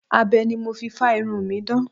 Abẹ ni mo fi fá irun mi dán.